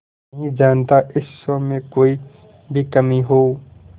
मैं नहीं चाहता इस शो में कोई भी कमी हो